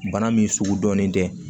Bana min sugu dɔnnen tɛ